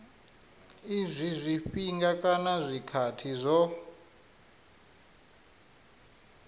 izwi zwifhinga kana zwikhathi zwo